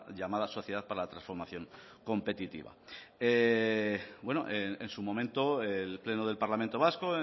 llamada sociedad para la transformación competitiva en su momento el pleno del parlamento vasco